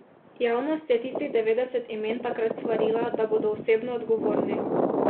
Javnost je tistih devetdeset imen takrat svarila, da bodo osebno odgovorni.